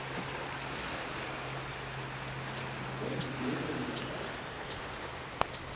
Fylgist þú með þínum gömlu félögum í Keflavík?